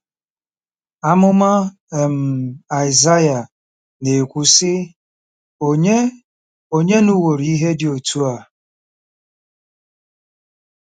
Amụma um Aịsaịa na-ekwu, sị: “Ònye “Ònye nụworo ihe dị otú a?